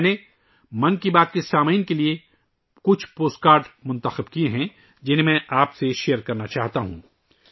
میں نے ' من کی بات 'کے سننے والوں کے لئے کچھ پوسٹ کارڈوں کو چنا ہے ، جنہیں میں آپ کے ساتھ شیئر کرنا چاہتا ہوں